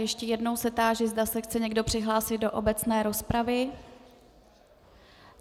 Ještě jednou se táži, zda se chce někdo přihlásit do obecné rozpravy.